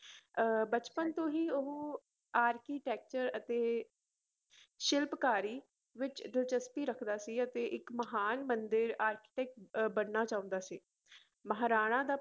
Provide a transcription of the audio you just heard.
ਅਹ ਬਚਪਨ ਤੋਂ ਹੀ ਉਹ architecture ਅਤੇ ਸ਼ਿਲਪਕਾਰੀ ਵਿੱਚ ਦਿਲਚਸਪੀ ਰੱਖਦਾ ਸੀ ਅਤੇ ਇੱਕ ਮਹਾਨ ਮੰਦਿਰ architect ਅਹ ਬਣਨਾ ਚਾਹੁੰਦਾ ਸੀ ਮਹਾਰਾਣਾ ਦਾ